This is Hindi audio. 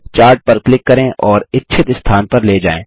चार्ट पर क्लिक करें और इच्छित स्थान पर ले जाएँ